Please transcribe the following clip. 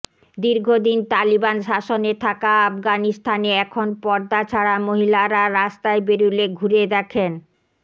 দীর্ঘদিন তালিবান শাসনে থাকা আফগানিস্তানে এখনও পর্দা ছাড়া মহিলারা রাস্তায় বেরলে ঘুরে দেখেন